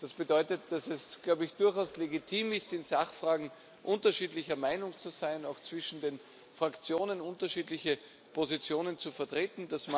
Das bedeutet, dass es durchaus legitim ist, in Sachfragen unterschiedlicher Meinung zu sein, auch zwischen den Fraktionen unterschiedliche Positionen zu vertreten.